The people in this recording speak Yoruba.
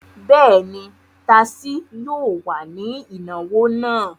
Bẹ́ẹ̀ ni, tasí yóò wà ní ìnáwó náà.